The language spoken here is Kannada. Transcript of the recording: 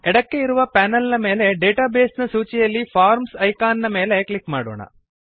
ಎಡಕ್ಕೆ ಇರುವ ಪೆನಲ್ ನ ಮೇಲೆ ಡೇಟಾಬೇಸ್ ನ ಸೂಚಿಯಲ್ಲಿ ಫಾರ್ಮ್ಸ್ ಇಕಾನ್ ಮೇಲೆ ಕ್ಲಿಕ್ ಮಾಡೋಣ